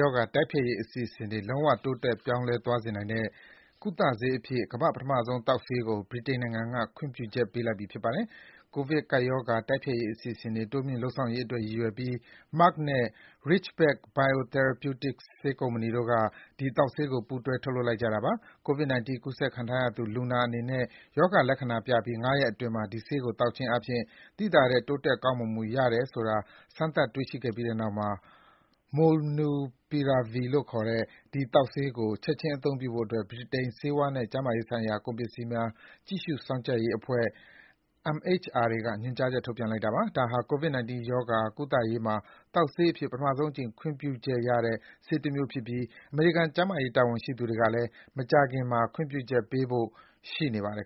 ရောဂါ တိုက်ဖျက်ရေးအစီအစဉ်တွေ လုံးဝ တိုးတက် ပြောင်းလဲသွားစေနိုင်တဲ့ ကုသဆေးအဖြစ် ပထမဆုံး သောက်ဆေးကို ဗြိတိန်နိုင်ငံက ကမ္ဘာမှာ ခွင့်ပြုချက်ပေးလိုက်ပါပြီ။ ကိုဗစ်ကပ်ရောဂါ တိုက်ဖျက်ရေးအစီအစဉ်တွေ တိုးမြှင့်လုပ်ဆောင်ရေးအတွက် ရည်ရွယ်ပြီး Merck နဲ့ Ridgeback Biotherapeutics ဆေးကုမ္ပဏီတို့က ဒီ သောက်ဆေးကို ပူးတွဲ ထုတ်လုပ်လိုက်ကြတာပါ။ COVID-19 ကူးစက်ခံထားရသူ လူနာအနေနဲ့ ရောဂါလက္ခဏာပြပြီး ၅ ရက်အတွင်းမှာ ဒီဆေးကိုသောက်ခြင်းအားဖြင့် သိသာတဲ့ တိုးတက်ကောင်းမွန်မှု ရတယ်ဆိုတာ စမ်းသပ် တွေ့ရှိပြီးတဲ့နောက် Molnupiravir လို့ခေါ်တဲ့ ဒီသောက်ဆေးကို ချက်ခြင်းအသုံးပြုဖို့အတွက် ဗြိတိန် ဆေးဝါးနဲ့ ကျန်းမာရေးဆိုင်ရာကုန်ပစ္စည်းများ ကြည့်ရှု စောင့်ကြပ်ရေးအဖွဲ့ (MHRA) က ညွန်ကြားချက် ထုတ်ပြန်လိုက်တာပါ။ ဒါဟာ COVID-19 ရောဂါ ကုသရေးမှာ သောက်ဆေးအဖြစ် ပထမဆုံးအကြိမ် ခွင့်ပြုချက်ရတဲ့ဆေးတမျိုးဖြစ်ပြီး အမေရိကန် ကျန်းမာရေးတာဝန်ရှိသူတွေကလည်း မကြာခင်မှာ ခွင့်ပြုချက် ချပေးဖို့ ရှိနေပါတယ်